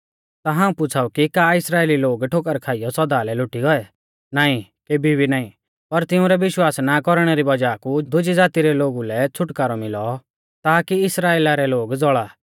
ता हाऊं पुछ़ाऊ कि का इस्राइली लोग ठोकर खाइयौ सौदा लै लोटी गौऐ नाईं केभी भी नाईं पर तिंउरै विश्वास ना कौरणै री वज़ाह कु दुज़ी ज़ाती रै लोगु लै छ़ुटकारौ मिलौ ताकी इस्राइला रै लोग ज़ौल़ा